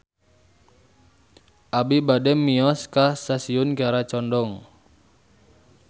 Abi bade mios ka Stasiun Kiara Condong